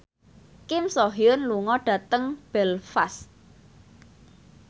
Kim So Hyun lunga dhateng Belfast